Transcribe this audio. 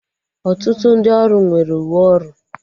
Ọtụtụ ndị ọrụ nwere uwe ọrụ